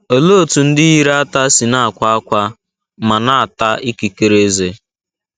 Olee otú ndị yiri ata si na - akwa ákwá ma na - ata ikikere ezé?